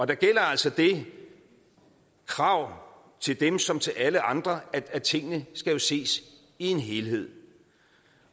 der gælder altså det krav til dem som til alle andre at tingene skal ses i en helhed